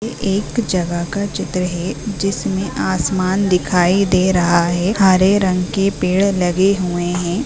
एक जगह का चित्र है| जिसमें आसमान दिखाई दे रहा है हरे रंग के पेड़ लगे हुए हैं|